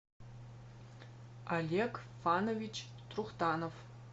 олег фанович трухтанов